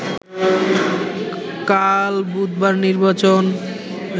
কাল বুধবার নির্বাচন